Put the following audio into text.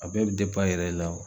A bɛɛ bi e yɛrɛ la wo.